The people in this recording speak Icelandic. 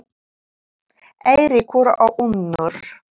Eiríkur og Unnur.